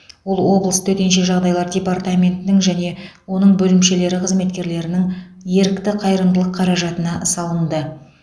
ол облыс төтенше жағдайлар департаментінің және оның бөлімшелері қызметкерлерінің ерікті қайырымдылық қаражатына салынды